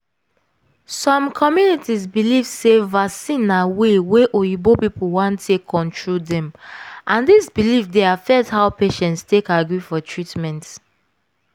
some communities believe sey vaccine na way wey oyibo people want take control dem and this belief dey affect how patients take agree for treatment.